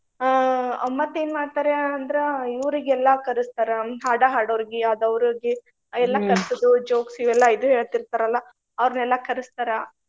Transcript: ಆ ಮತ್ತ್ ಏನ್ ಮಾಡ್ತಾರೆ ಅಂದ್ರ ಇವ್ರಿಗೆಲ್ಲಾ ಕರಸ್ತಾರ. ಹಾಡಾ ಹಾಡೋವ್ರಿಗೆ ಅದ್ ಅವ್ರಿಗೆ jokes ಇವೆಲ್ಲಾ ಇದು ಹೇಳ್ತೀರ್ತಾರಲ್ಲಾ ಅವ್ರನೆಲ್ಲಾ ಕರಸ್ತಾರ.